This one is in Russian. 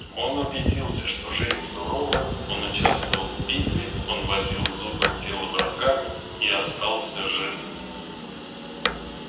он убедился что жизнь сурова он участвовал в битве он возил зубы в тело врага и остался жив